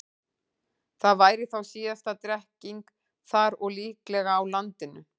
Það væri þá síðasta drekkingin þar og líklega á landinu.